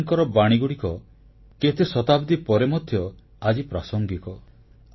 କବୀରଙ୍କର ବାଣୀଗୁଡ଼ିକ କେତେ ଶତାବ୍ଦୀ ପରେ ମଧ୍ୟ ଆଜି ପ୍ରାସଙ୍ଗିକ